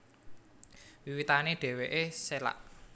Wiwitané dhèwèké sélak